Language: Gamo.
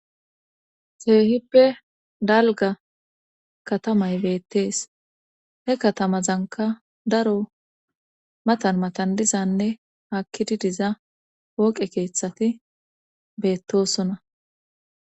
Keehippe dalga katamay beettees he katamazanka daro matan matandizanne hakkidi diza wooqe keeththati beettosona.